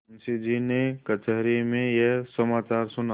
मुंशीजी ने कचहरी में यह समाचार सुना